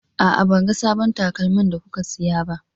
A'a, ban ga sabbon takalman da kuka siya ba.